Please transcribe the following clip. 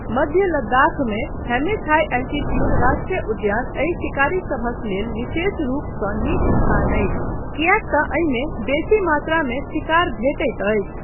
मध्य लद्दाखमे Hemis high altitude राष्ट्रीय उद्यान एहि शिकारीसभक लेल विशेष रूपसँ नीक स्थान अछि किएकतँ एहिमे बेसी मात्रामे शिकार भेटैत अछि।